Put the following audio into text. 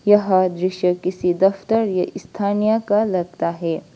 यह दृश्य किसी दफ्तर या स्थानीय का लगता है।